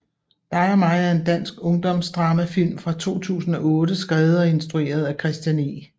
Dig og mig er en dansk ungdomsdramafilm fra 2008 skrevet og instrueret af Christian E